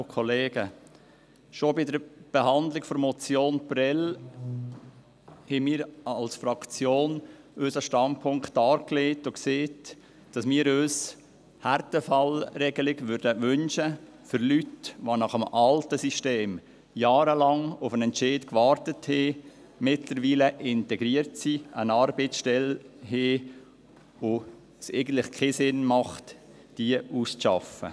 Schon bei der Behandlung der Motion Prêles haben wir als Fraktion unseren Standpunkt dargelegt und gesagt, dass wir uns eine Härtefallregelung wünschten für Leute, die nach dem alten System jahrelang auf einen Entscheid gewartet haben, die mittlerweile integriert sind, die eine Arbeitsstelle haben, und bei denen es eigentlich keinen Sinn macht, sie auszuschaffen.